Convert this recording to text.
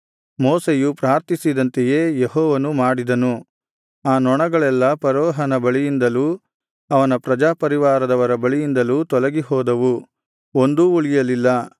ಮೋಶೆಯು ಪ್ರಾರ್ಥಿಸಿದಂತೆಯೇ ಯೆಹೋವನು ಮಾಡಿದನು ಆ ನೊಣಗಳೆಲ್ಲಾ ಫರೋಹನ ಬಳಿಯಿಂದಲೂ ಅವನ ಪ್ರಜಾಪರಿವಾರದವರ ಬಳಿಯಿಂದಲೂ ತೊಲಗಿಹೋದವು ಒಂದೂ ಉಳಿಯಲಿಲ್ಲ